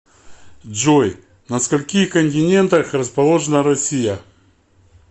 джой на скольких континентах расположена россия